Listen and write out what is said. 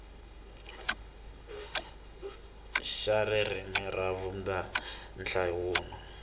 xa ririmi ra vumbirhi nhlawulo